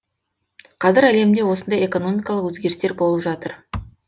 қазір әлемде осындай экономикалық өзгерістер болып жатыр